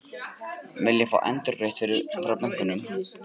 Vilja fá endurgreitt frá bönkunum